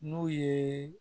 N'u ye